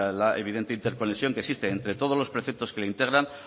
la evidente interconexión que existe entre todos los perfectos que le integran